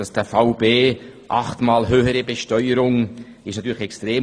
Dieser Fall B – achtmal höhere Besteuerung – ist natürlich extrem.